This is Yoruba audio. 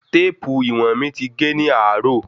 Téèpù íwọ̀n mi ti ge ní àárò.